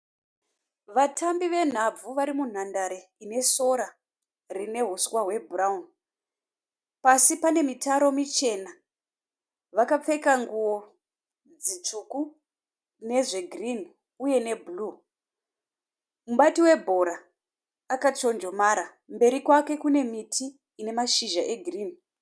Vatambi venhabvu vari munhandare ine sora rine uswa hwebhurauni. Pasi pane mitaro michena. Vakapfeka nguo dzitsvuku nezvegirini uye nebhuruu . Mubati webhora akachonjomara mberi kwake kune miti ine mashizha egirini.